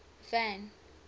van